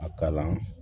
A kalan